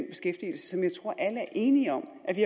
alle er enige om at vi